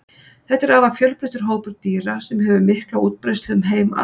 þetta er afar fjölbreyttur hópur dýra sem hefur mikla útbreiðslu um heim allan